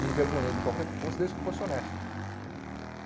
me envergonhei de qualquer que fosse, desde que fosse honesto.